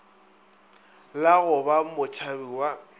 la go ba motšhabi wa